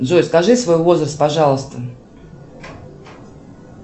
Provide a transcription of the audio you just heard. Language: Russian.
джой скажи свой возраст пожалуйста